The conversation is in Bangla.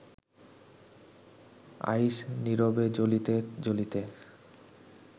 আইস, নীরবে জ্বলিতে জ্বলিতে